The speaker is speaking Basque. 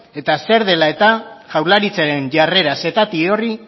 eta zer dela eta jaurlaritzaren jarrera setati horri